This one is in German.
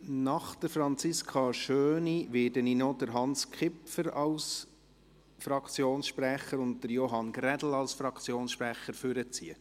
Nach Franziska Schöni werde ich noch Hans Kipfer und Johann Grädel als Fraktionssprecher aufrufen.